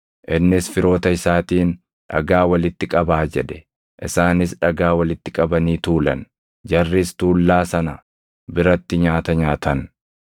Innis firoota isaatiin, “Dhagaa walitti qabaa” jedhe. Isaanis dhagaa walitti qabanii tuulan; jarris tuullaa sana biratti nyaata nyaatan.